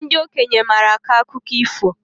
Ndị okenye maara akọ akụkọ ifo